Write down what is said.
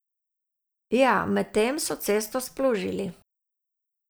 Ja, medtem so cesto splužili.